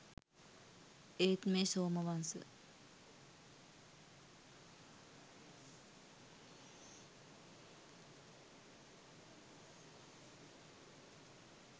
ඒත් මේ සෝමවංශ